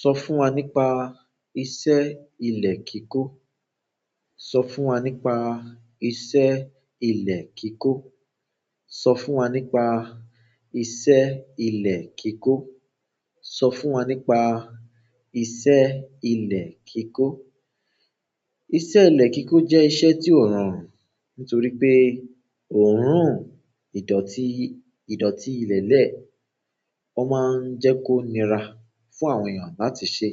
Sọ fún wa nípa iṣẹ́ ilẹ̀ kíkó. Sọ fún wa nípa iṣẹ́ ilẹ̀ kíkó. Sọ fún wa nípa iṣẹ́ ilẹ̀ kíkó. Sọ fún wa nípa iṣẹ́ ilẹ̀ kíkó. Iṣẹ́ ilẹ̀ kíkó jẹ́ iṣẹ́ tí ó rọrùn, nítorí pé oòrùn ìdọ̀tí, ìdọ̀tí ilẹ̀lẹ̀, ó máa ń jẹ́ kó nira fún àwọn èèyàn láti ṣe.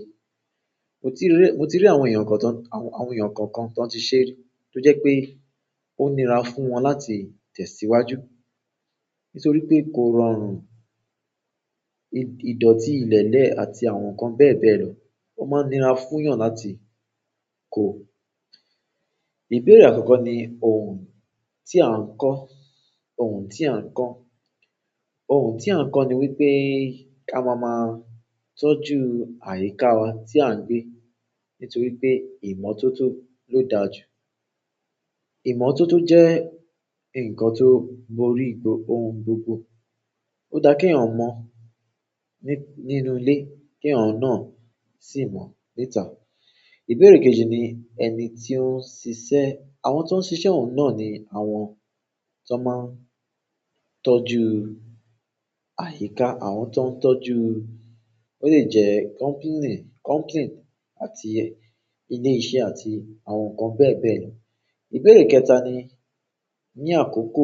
Mo ti rí, mo ti rí àwọn èèyàn kan tán, àwọn èèyàn kan kan tón ti ṣe ri tó jẹ́ pé ó nira fún wọn láti tẹ̀ síwájú. Nítorí pé kó rọrùn, ìdọ̀tí ilẹ̀lẹ̀ àti àwọn nǹkan bẹ́ẹ̀ bẹ́ẹ̀ lọ, ó máa nira fún èèyàn láti kó. Oorun ti a n ko òòhùn tí à ń kọ́. Òòhùn tí à ń kọ́ ni wípé ká máa máa tọ́jú àyíká wa tí à ń gbé. Nitoripe ìmọ̀ toto lo dára ju ìmọ̀ tó tó jẹ́ ǹkan tó borí òhùn gbogbo. Ó dá kí èèyàn mọ̀ ní, nínú ilé, kí èèyàn náà sì mọ̀ níta. Ìbéèrè kejì ni ẹni tí ó ń ṣiṣẹ́. Àwọn tó ń ṣiṣẹ́ òhún náà ni àwọn tó máa ń tọ́jú àyíká, àwọn tó ń tọ́jú ó lè jẹ́ company, company àti ilé iṣẹ́ àti àwọn nǹkan bẹ́ẹ̀ bẹ́ẹ̀ lọ. Ìbéèrè kẹta ni ní àkókò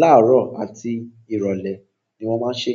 láàárọ̀ àti ìrọ̀lẹ́ ni wọ́n máa ń ṣe?